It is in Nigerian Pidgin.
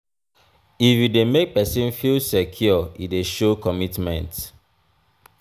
if you dey make pesin feel secure e dey show commitment.